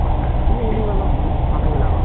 কি হৈছে জানো মানুহ বিলাকৰ